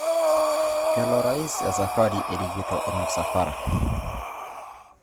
Kelo orais esafari erikito ormusafara